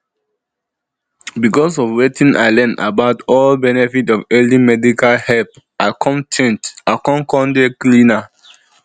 because of wetin i learn about di benefit of early medical help i come change i con con dey cleaner